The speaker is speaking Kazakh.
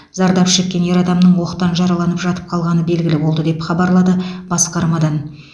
зардап шеккен ер адамның оқтан жараланып жатып қалғаны белгілі болды деп хабарлады басқармадан